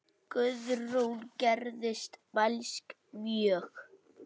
Guðrún gerðist mælsk mjög.